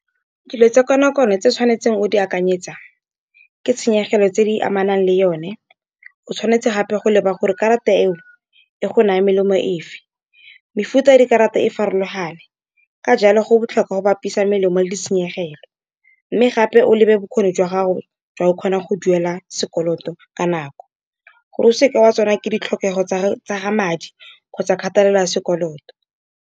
Dilo tsa kono-kono tse o tshwanetseng go di akanyetsa ke tshenyegelo tse di amanang le yone, o tshwanetse gape go leba gore karata eo e go naya melemo efe. Mefuta ya dikarata e farologane ka jalo go botlhokwa go bapisa melemo, le ditshenyegelo. Mme gape o lebe bokgoni jwa gago jwa go kgona go duela sekoloto ka nako, gore o seke wa ke ditlhokego tsa madi kgotsa kgatelelo ya sekoloto.